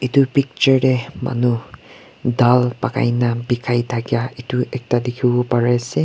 etu picture deh manu dal pakai na bikai thakia etu ekta dikhiwo pari asey.